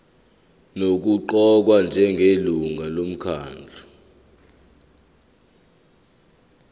nokuqokwa njengelungu lomkhandlu